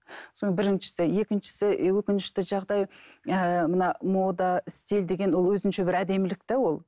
біріншісі екіншісі өкінішті жағдай ыыы мына мода стиль деген ол өзінше бір әдемілік те ол